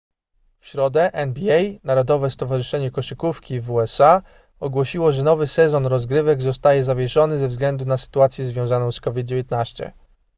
w środę nba narodowe stowarzyszenie koszykówki w usa ogłosiło że nowy sezon rozgrywek zostaje zawieszony ze względu na sytuację związaną z covid-19